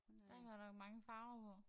Der godt nok mange farver på